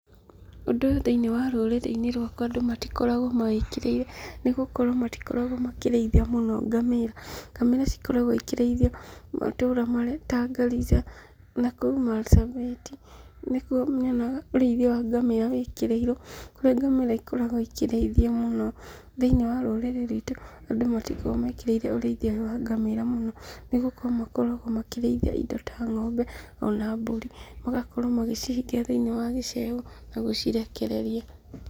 Ũndũ ũyũ thĩiniĩ wa rũrĩrĩ-nĩ rũakwa andũ matikoragwo mawĩkĩrĩire nĩ gũkorwo matikoragwo makĩrĩithia mũno ngamĩra. Ngamĩra cikoragwo cikĩrĩithio matũra marĩa ta Garissa na kũu Marsabit nĩkuo nyonaga ũrĩithia wa ngamĩra wĩkĩrĩirwo kũrĩa ngamĩra ikoragwo ikĩrĩithio mũno. Thĩiniĩ wa rũrĩrĩ ruitũ, andũ matikoragwo mekĩrĩire ũrĩithia ũyũ wa ngamĩra mũno nĩ gũkorwo makoragwo makĩrĩithia indo ta ng'ombe ona mbũri, magakorwo magĩcihingĩra thĩiniĩ wa gĩcegũ na gũcirekereria.